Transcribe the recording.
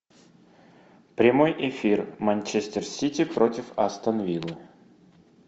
прямой эфир манчестер сити против астон виллы